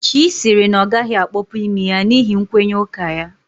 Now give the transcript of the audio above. Chy sịrị na ọ gaghị akpọpu imi ya n'ihi nkwenye ụka ya